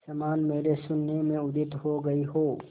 समान मेरे शून्य में उदित हो गई हो